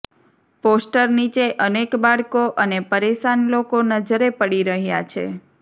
poster નીચે અનેક બાળકો અને પરેશાન લોકો નજરે પડી રહ્યાં છે